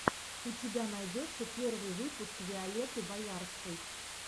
у тебя найдется первый выпуск виолетты боярской